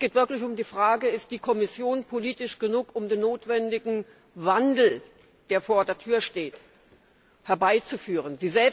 Es geht wirklich um die Frage Ist die Kommission politisch genug, um den notwendigen Wandel, der vor der Tür steht, herbeizuführen?